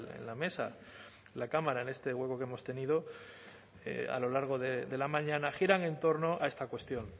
en la mesa de la cámara en este hueco que hemos tenido a lo largo de la mañana giran en torno a esta cuestión